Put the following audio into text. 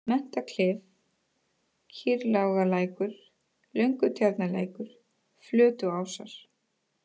Menntaklif, Kýrlágarlækur, Löngutjarnarlækur, Flötuásar